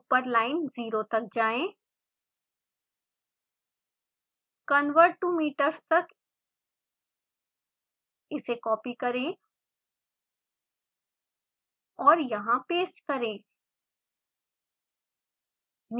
ऊपर लाइन 0 तक जाएँ converttometers तक इसे कॉपी करें और यहाँ पेस्ट करें